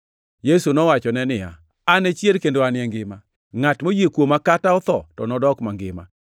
Yesu nowachone niya, “An e chier kendo An e ngima. Ngʼat moyie kuoma kata otho to nodok mangima,